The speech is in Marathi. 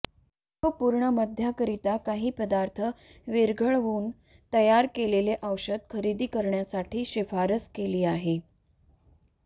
तो पूर्ण मद्याकरिता काही पदार्थ विरघळवून तयार केलेले औषध खरेदी करण्यासाठी शिफारस केली आहे